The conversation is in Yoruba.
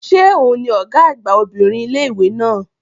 Ṣé òun ni Ọ̀gá àgbà obìnrin ilé-ìwé náà?